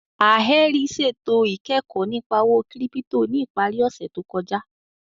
Alherí ṣẹtò ikẹkọ̀ nípà òwó kírípítò ní ìpàrí òṣè tó kọja